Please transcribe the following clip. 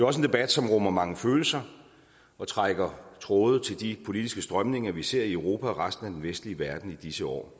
også en debat som rummer mange følelser og trækker tråde til de politiske strømninger vi ser i europa og i resten af den vestlige verden i disse år